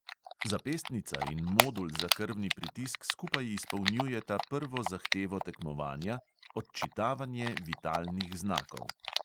Zapestnica in modul za krvni pritisk skupaj izpolnjujeta prvo zahtevo tekmovanja, odčitavanje vitalnih znakov.